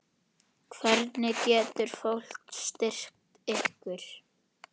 Hvernig getur fólk styrkt ykkur?